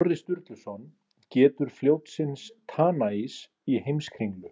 Snorri Sturluson getur fljótsins Tanais í Heimskringlu.